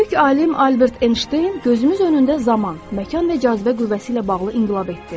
Böyük alim Albert Enşteyn gözümüz önündə zaman, məkan və cazibə qüvvəsi ilə bağlı inqilab etdi.